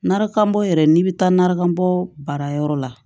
Narakanbɔ yɛrɛ n'i bɛ taa narakanbɔ baarayɔrɔ la